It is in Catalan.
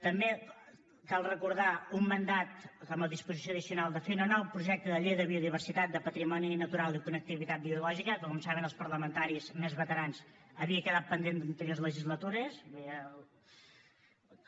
també cal recordar un mandat com a disposició addicional de fer un projecte de llei de biodiversitat de patrimoni natural i connectivitat biològica que com saben els parlamentaris més veterans havia quedat pendent d’anteriors legislatures vull dir el